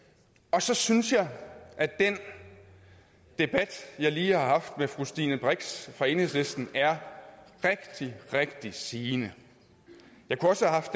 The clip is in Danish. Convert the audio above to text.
så synes jeg at den debat jeg lige har haft med fru stine brix fra enhedslisten er rigtig rigtig sigende